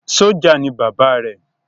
Sọ́jà ni Bàbá rẹ